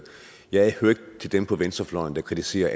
jeg hører ikke til dem på venstrefløjen der kritiserer